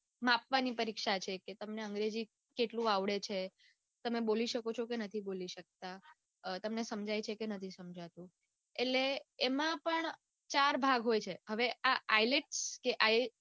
માપવાની પરીક્ષા છે કે તમને અંગ્રેજી કેટલું આવડે છે તમે બોલી શકો છો કે નથી બોલી શક્તા તમને સમજાય છે કે નથી સમજાતું એટલે એમાં પણ ચાર ભાગ હોય છે હવે આ ielts ielts